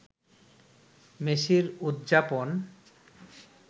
মেসির উদযাপন